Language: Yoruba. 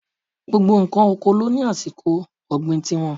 Gbogbo ǹkan oko ló ní àsìkò ọ̀gbìn ti wọn.